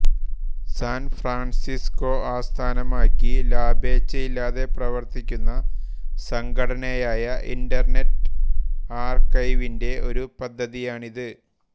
San Francisco ആസ്ഥാനമാക്കി ലാഭേച്ഛയില്ലാതെ പ്രവർത്തിക്കുന്ന സംഘടനയായ ഇന്റർനെറ്റ് ആർകൈവിന്റെ ഒരു പദ്ധതിയാണിത്